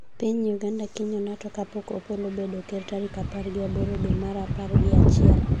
Piny Uganda kinyo Nato kapok Opollo obed ker tarik apar gi aboro dwe mar apar gi achiel